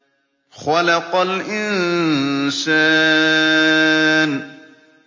خَلَقَ الْإِنسَانَ